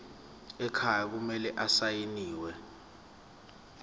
ekhaya kumele asayiniwe